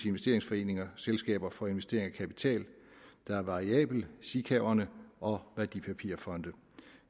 investeringsforeninger selskaber for investering af kapital der er variabel sikaverne og værdipapirfonde